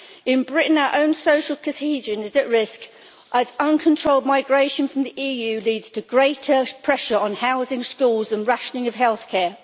In Britain, our own social cohesion is at risk as uncontrolled migration from the EU leads to greater pressure on housing, schools and rationing of healthcare.